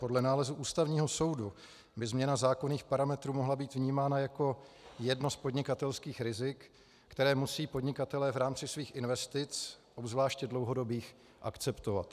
Podle nálezu Ústavního soudu by změna zákonných parametrů mohla být vnímána jako jedno z podnikatelských rizik, která musí podnikatelé v rámci svých investic, obzvláště dlouhodobých, akceptovat.